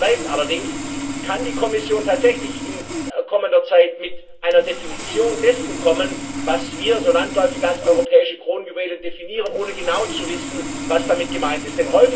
Die Frage bleibt allerdings Kann die Kommission tatsächlich in kommender Zeit mit einer Definition dessen kommen, was wir so landläufig als europäische Kronjuwelen definieren, ohne genau zu wissen, was damit gemeint ist?